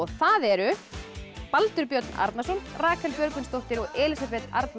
það eru Baldur Björn Arnarson Rakel Björgvinsdóttir og Elísabet Arna